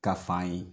Ka fa ye